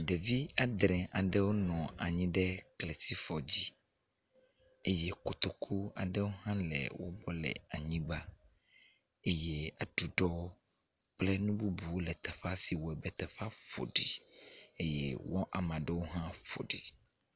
Ɖevi adre aɖewo nɔ anyi ɖe kletifɔ dzi eye kotoku aɖe hã le wo gbɔ le anyigba eye aɖuɖɔ kple nu bubuwo le teƒea si wɔe be teƒea ƒo ɖi eye wo amea ɖewo hã ƒo ɖi.